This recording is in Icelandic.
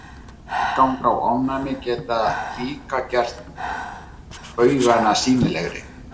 Meðganga og ofnæmi geta líka gert baugana sýnilegri.